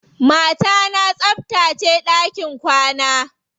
Mata na tsabtace ɗakin kwana.